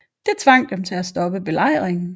Det tvang dem til at stoppe belejringen